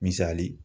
Misali